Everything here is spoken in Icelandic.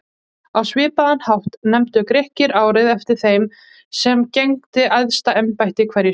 Á svipaðan hátt nefndu Grikkir árið eftir þeim sem gegndi æðsta embætti hverju sinni.